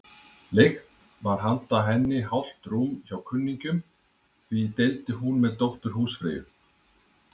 Leigt var handa henni hálft rúm hjá kunningjum, því deildi hún með dóttur húsfreyju.